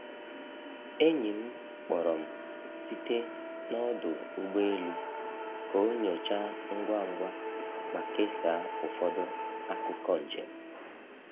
Enyi m kpọrọ m site n’ ọdụ ụgbọ elu ka ọ nyochaa ngwa ngwa ma kesaa ụfọdụ akụkọ njem.